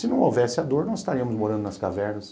Se não houvesse a dor, não estaríamos morando nas cavernas.